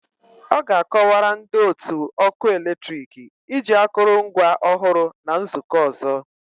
Ọ ga-akọwara ndị otu ọkụ eletrik iji akụrụngwa ọhụrụ na nzukọ ọzọ